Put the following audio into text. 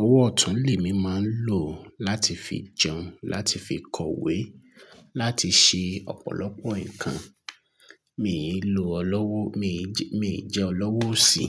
ọwọ́ ọ̀tún mi màá ń lò láti fi jẹun, láti fi kọwé, láti ṣe ọ̀pọ̀lọpọ̀ nǹkan. Mi ì lò ọ lọ́wọ́, mi jẹ́ ọ lọ́wọ́ òsì.